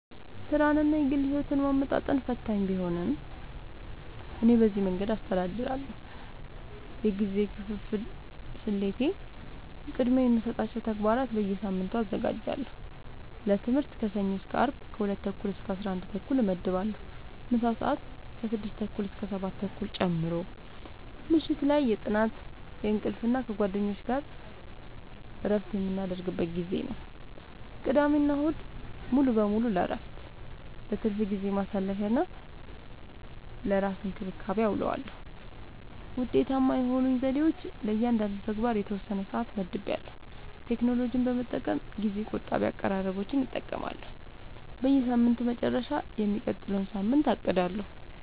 ሥራንና የግል ሕይወትን ማመጣጠን ፈታኝ ቢሆንም፣ እኔ በዚህ መንገድ አስተዳድራለሁ፦ የጊዜ ክፍፍል ስልቴ፦ · ቅድሚያ የሚሰጣቸውን ተግባራት በየሳምንቱ አዘጋጃለሁ · ለትምህርት ከሰኞ እስከ አርብ ከ 2:30-11:30 እመድባለሁ (ምሳ ሰአት 6:30-7:30 ጨምሮ) · ምሽት ላይ የጥናት፣ የእንቅልፍ እና ከጓደኞች ጋር እረፍት የምናደርግበት ጊዜ ነው። · ቅዳሜና እሁድ ሙሉ በሙሉ ለእረፍት፣ ለትርፍ ጊዜ ማሳለፊ፣ እና ለራስ እንክብካቤ አዉለዋለሁ። ውጤታማ የሆኑኝ ዘዴዎች፦ · ለእያንዳንዱ ተግባር የተወሰነ ሰዓት መድቤያለሁ · ቴክኖሎጂን በመጠቀም ጊዜ ቆጣቢ አቀራረቦችን እጠቀማለሁ · በሳምንቱ መጨረሻ የሚቀጥለውን ሳምንት አቅዳለሁ